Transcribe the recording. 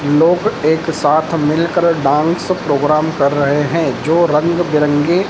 लोग एक साथ मिलकर डांस प्रोग्राम कर रहे हैं जो रंग बिरंगे--